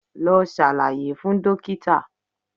Lọ ṣàlàyé fún dókítà̀